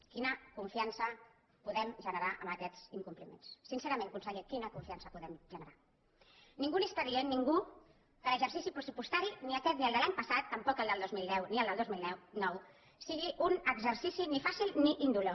quina confiança podem generar amb aquests incompliments sincerament conseller quina confiança podem generar ningú li està dient ningú que l’exercici pressupostari ni aquest ni el de l’any passat tampoc el del dos mil deu ni el del dos mil nou sigui un exercici ni fàcil ni indolor